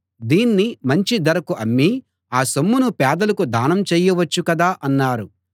దీన్ని మంచి ధరకు అమ్మి ఆ సొమ్మును పేదలకు దానం చెయ్యవచ్చు కదా అన్నారు